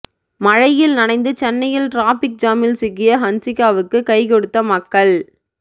மழையில் நனைந்து சென்னையில் டிராபிக் ஜாமில் சிக்கிய ஹன்சிகாவுக்கு கைகொடுத்த மக்கள்